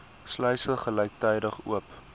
sluise gelyktydig oop